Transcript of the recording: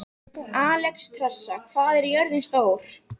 Alexstrasa, hvað er jörðin stór?